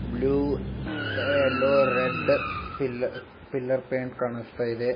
Blue yellow red pill pillar paint ಕಾಣಿಸ್ತಾ ಇದೆ.